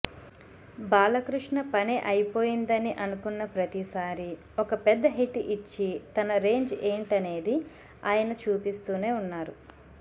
బాలకృష్ణ పని అయిపోయిందని అనుకున్న ప్రతిసారీ ఒక పెద్ద హిట్ ఇచ్చి తన రేంజ్ ఏంటనేది ఆయన చూపిస్తూనే ఉన్నారు